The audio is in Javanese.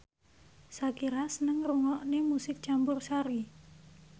Shakira seneng ngrungokne musik campursari